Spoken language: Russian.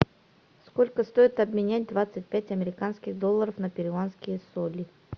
сколько стоит обменять двадцать пять американских доллара на перуанские соли